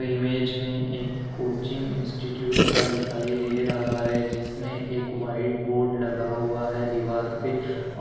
image में एक coaching institute का दिखाई दे रहा है जिसमें एक व्हाइट बोर्ड लगा हुआ है दीवार पे औ--